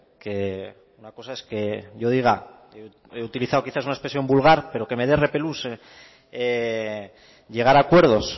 que una cosa es que yo diga he utilizado quizás una expresión vulgar pero que me da repelús llegar a acuerdos